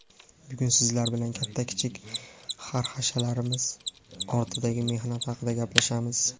bugun Sizlar bilan katta-kichik xarxashalarimiz ortidagi mehnat haqida gaplashamiz.